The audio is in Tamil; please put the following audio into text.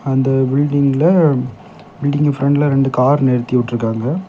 அந்த பில்டிங்ல பில்டிங்கோட பிரண்ட்ல இரண்டு கார் நிறுத்தி விட்டு இருக்காங்க.